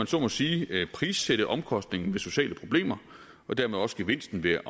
så må sige prissætte omkostningen ved sociale problemer og dermed også gevinsten ved at